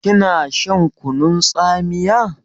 Kina shan kunun tsamiya?